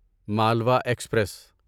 Malwa express